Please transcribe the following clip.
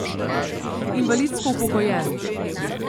Invalidsko upokojen.